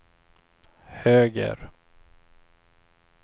höger